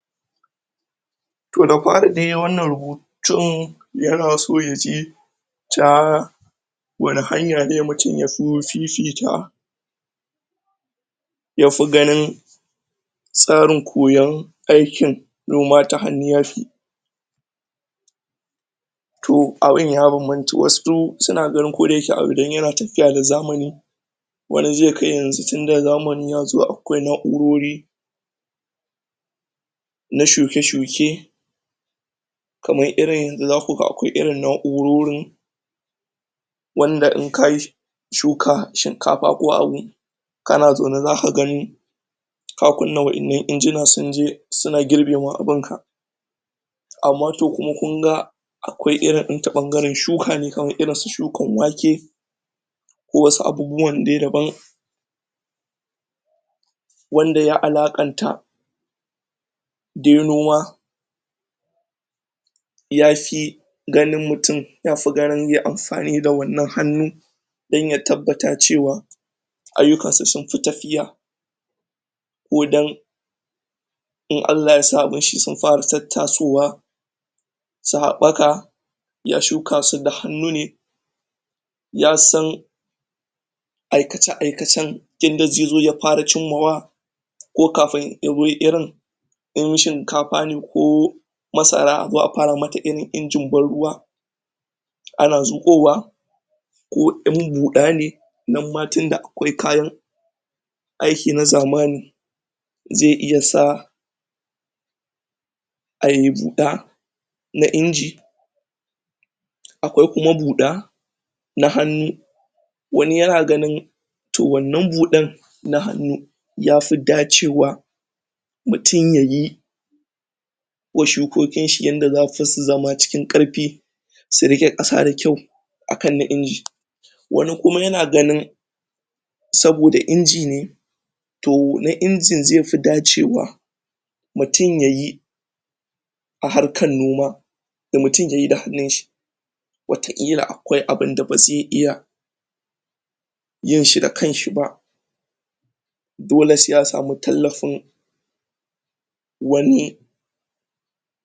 To da fari dai wannan rubutun yana so ne yaji ta wane hanya ne mutum ya fi fifita yafi ganin tsarin koyan aikin noma ta hannu yafi, toh abin ya banbanta wasu suna ganin koda yake abu dan yana tafiya da zamani wani zai ga yanzu tunda zamani yazo akwai naurori na shuke shuke kamar yanzu zaku ga akwai irin naurorin wanda idan kayi shuka, shrinkafa ko abu kana zaune zaka ga ka kunna wadannan injinan sunje suna girbe ma abinka amma to kuma kunga akwai irin ta bangaren shuka ne kamar su shukar wake wasu abubuwan dai daban wanda ya alakan ta dai noma yafi ganin mutum yafi ganin yayi amfani da wannan hannu dan ya tabbatar da cewa ayyukan sa sun fi tafiya ko dan in Allah ya sami mishi sun fara tattasowa sun habbaka, ya shuka su da hannu ne yasan aikace aikacen inda zai zo ya fara cimmawa ko kafin ya fara irin in shinkafa ne ko masara azo a fara mata irin injin ban ruwa ana zukowa ko in buda ne nan ma tunda akwai kayan aiki na zamani zai iya sa ayi buda na inji, akwai kuma buda nahannu wani yana ganin toh wannan budan na hannu yafi dacewa da mutum yayi wa shukokin shi yadda zasu zama cikin karfi su rike kasa da kyau akan na inji, kuma yana ganin saboda inji ne to na injin zai fi dacewa mutum yayi harkar noma yana ganin mutum yayi da hannun shi wata kila akwai abinda bazai iya yin shi da kansa ba dole sai ya samu tallafin wani.